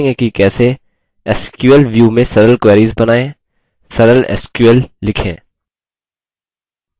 sql view में sql queries बनाएँ sql sql लिखें